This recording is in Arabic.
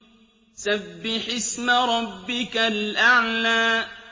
سَبِّحِ اسْمَ رَبِّكَ الْأَعْلَى